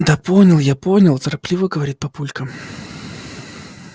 да понял я понял торопливо говорит папулька